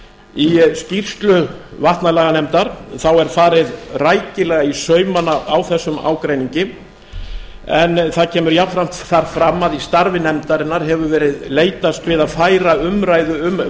í skýrslu vatnalaganefndar er farið rækilega í saumana á þessum ágreiningi en það kemur jafnframt þar fram að í starfi nefndarinnar hefur verið leitast við að færa umræðu um